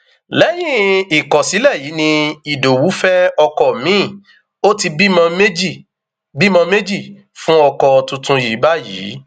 lẹyìn ìkọsílẹ yìí ni ìdowu fẹ ọkọ miin ó ti bímọ méjì bímọ méjì fún ọkọ tuntun yìí báyìí